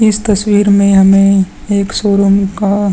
इस तस्वीर में हमे एक शोरूम का --